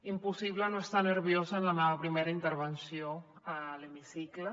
impossible no estar nerviosa en la meva primera intervenció a l’hemicicle